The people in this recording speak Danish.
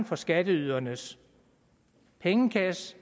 for skatteydernes pengekasse